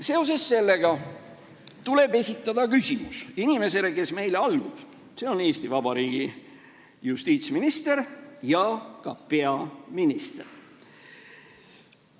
Seoses sellega tuleb esitada küsimus inimesele, kes meile allub, see on Eesti Vabariigi justiitsminister ja ka peaminister.